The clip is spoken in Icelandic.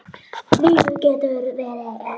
Lífið getur verið erfitt.